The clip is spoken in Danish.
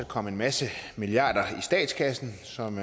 komme en masse milliarder i statskassen som